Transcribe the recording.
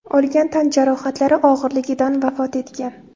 olgan tan jarohatlari og‘irligidan vafot etgan.